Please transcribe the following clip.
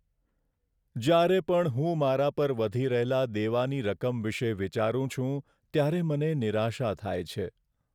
જ્યારે પણ હું મારા પર વધી રહેલા દેવાની રકમ વિશે વિચારું છું ત્યારે મને નિરાશા થાય છે.